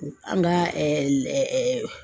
An ka